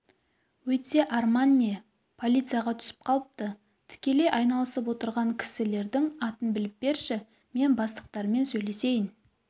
өйтсе арман не полицияға түсіп қалыпты тікелей айналысып отырған кісілердің атын біліп берші мен бастықтарымен сөйлесейін